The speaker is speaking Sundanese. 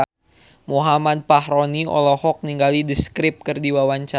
Muhammad Fachroni olohok ningali The Script keur diwawancara